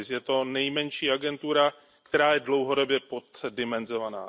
Je to nejmenší agentura, která je dlouhodobě poddimenzovaná.